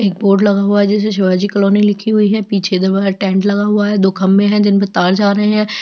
एक बोर्ड लगा हुआ है जिस पर शिवाजी कॉलोनी लिखा हुआ है पीछे दो वाइट टेन्ट लगे हुआ है दो खंभे है जिन पे तार जा रहै है।